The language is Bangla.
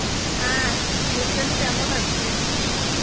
হ্যাঁ বৈশালী কেমন আছিস?